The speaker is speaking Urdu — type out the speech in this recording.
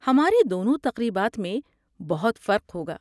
ہماری دونوں تقریبات میں بہت فرق ہوگا۔